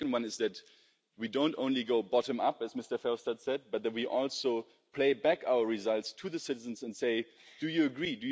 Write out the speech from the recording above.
The second one is that we don't only go bottom up as Mr Verhofstad said, but that we also play back our results to the citizens and say, do you agree?